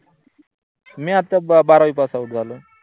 मी आता बारावी pass out झालो.